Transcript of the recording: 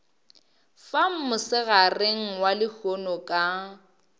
fa mosegareng wa lehono ka